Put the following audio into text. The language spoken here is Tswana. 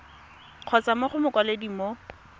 kgotsa mo go mokwaledi mo